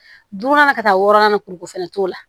Dunan na ka taa wɔrɔn na kuruko fɛnɛ t'o la